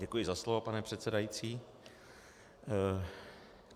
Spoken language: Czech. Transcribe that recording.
Děkuji za slovo pane předsedající.